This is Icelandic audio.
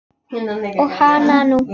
Og hananú!